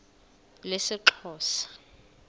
lesixhosa